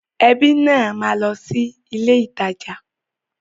Ẹbí náà máa lọ sí ilé ìtajà.